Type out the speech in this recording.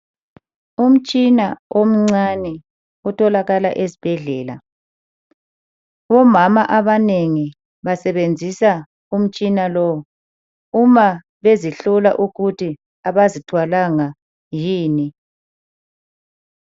Umtshina omncane otholakala esibhedlela. Omama abanengi basebenzisa umtshina lowu uma bezihlola ukuthi abazithwalanga yini.